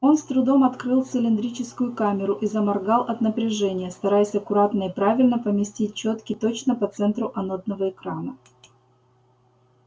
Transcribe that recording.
он с трудом открыл цилиндрическую камеру и заморгал от напряжения стараясь аккуратно и правильно поместить чётки точно по центру анодного экрана